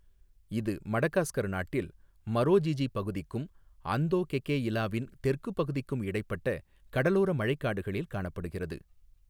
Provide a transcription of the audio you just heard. இது மடகாஸ்கர் நாட்டில் மரோஜிஜி பகுதிக்கும் அந்தோகெகெஇலாவின் தெற்கு பகுதிக்கும் இடைப்பட்ட கடலோர மழைக் காடுகளில் காணப்படுகிறது.